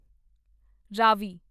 Ravi